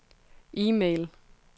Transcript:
e-mail